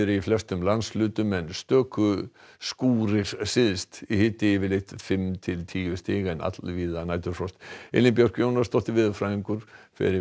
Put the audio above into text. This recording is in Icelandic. í flestum landshlutum en stöku skýrir syðst hiti yfirleitt fimm til tíu stig en allvíða næturfrost Elín Björk Jónasdóttir veðurfræðingur fer með